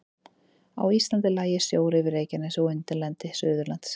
Á Íslandi lægi sjór yfir Reykjanesi og undirlendi Suðurlands.